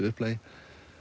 upplagi